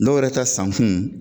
Dɔw yɛrɛ ka sankun